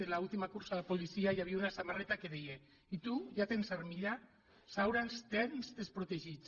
en l’última cursa de policia hi havia una samarreta que deia i tu ja tens armilla saura ens tens desprotegits